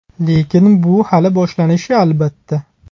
Lekin bu hali boshlanishi, albatta.